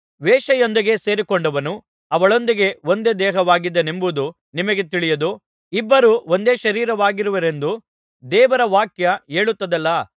ವೇಶ್ಯೆಯೊಂದಿಗೆ ಸೇರಿಕೊಂಡವನು ಅವಳೊಂದಿಗೆ ಒಂದೇ ದೇಹವಾಗಿದ್ದಾನೆಂಬುದು ನಿಮಗೆ ತಿಳಿಯದೋ ಇಬ್ಬರು ಒಂದೇ ಶರೀರವಾಗಿರುವರೆಂದು ದೇವರವಾಕ್ಯ ಹೇಳುತ್ತದಲ್ಲಾ